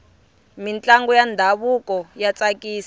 mintlangu ya ndhavuko ya tsakisa